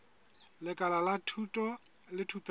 lekala la thuto le thupelo